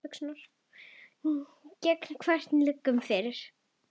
Gegn hverjum liggur ekki fyrir.